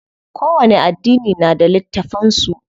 Kowani addini na da littafan su.